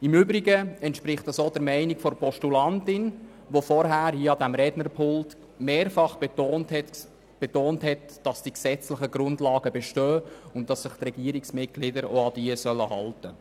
Im Übrigen entspricht dies auch der Meinung der Postulantin, die vorhin hier an diesem Rednerpult mehrfach betont hat, die gesetzlichen Grundlagen bestünden und die Regierungsmitglieder sollen sich auch an diese halten.